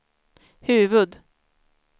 huvud-